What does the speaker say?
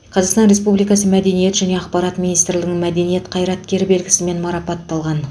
қазақстан республикасы мәдениет және ақпарат министрлігінің мәдениет қайраткері белгісімен марапатталған